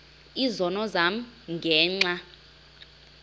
izono zam ngenxa